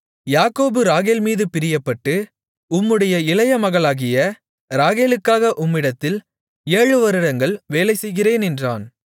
யாக்கோபு ராகேல் மீது பிரியப்பட்டு உம்முடைய இளைய மகளாகிய ராகேலுக்காக உம்மிடத்தில் ஏழு வருடங்கள் வேலை செய்கிறேன் என்றான்